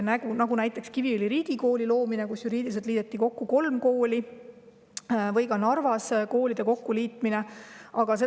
Näiteks Kiviõli Riigikooli loomine, kus juriidiliselt liideti kokku kolm kooli, või koolide kokkuliitmine Narvas.